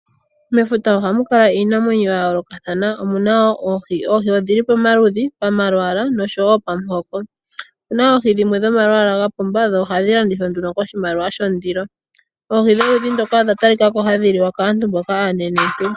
Mefuta ohamu kala iinamwenyo ya yoolokathana, omuna woo oohi. Oohi odhili poma ludhi, pama lwaala nosho wo pamu hoko. Opu na oohi dhimwe dha pumba, nohadhi landithwa nduno ko shimaliwa sho ndilo. Oohi dho ludhi ndoka, odha talikako hadhi liwa kaantu mboka aanene ntu.